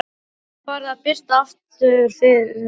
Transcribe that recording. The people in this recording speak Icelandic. Það var farið að birta yfir henni aftur.